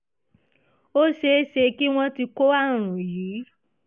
ó ṣe é ṣe kí wọ́n ti kó àrùn yìí